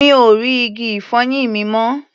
Mi ò rí igi-ìfọyín mi mọ́.